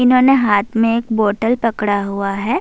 انہونے ایک ہاتھ مے ایک بوتل پکڑا ہوا ہے-